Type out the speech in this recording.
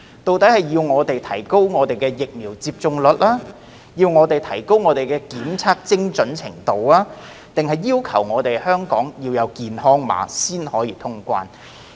究竟我們要提高疫苗接種率、提高檢測精準度，還是香港要有健康碼才能通關？